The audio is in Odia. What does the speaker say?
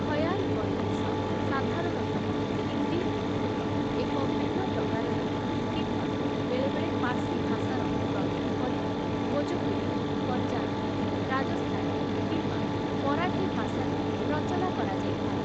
ଖୟାଲ୍‌ ବନ୍ଦିଶ ସାଧାରଣତଃ ହିନ୍ଦୀ ଉର୍ଦ୍ଦୁର ଏକ ଭିନ୍ନ ପ୍ରକାରରେ କିମ୍ବା ବେଳେବେଳେ ପାର୍ସୀ ଭାଷାର ଦରି ରୂପରେ, ଭୋଜପୁରୀ, ପଞ୍ଜାବୀ, ରାଜସ୍ଥାନୀ କିମ୍ବା ମରାଠୀ ଭାଷାରେ ରଚନା କରାଯାଇଥାଏ ।